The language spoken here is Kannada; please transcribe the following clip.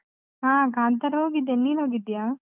ಹಾ, ಕಾಂತಾರ ಹೋಗಿದ್ದೇನೆ, ನೀನು ಹೋಗಿದ್ಯಾ?